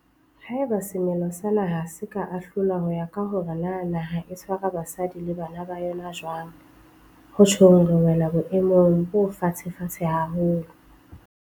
Haeba semelo sa naha se ka ahlolwa ho ya ka hore na naha e tshwara basadi le bana ba yona jwang, ho tjhong re wela boemong bo fatshefatshe haholo.